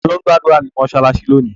Ta ló ń gbàdúrà ní mọ́ṣáláṣí lónìí?